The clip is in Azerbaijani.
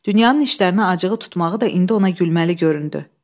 Dünyanın işlərinə acığı tutmağı da indi ona gülməli göründü.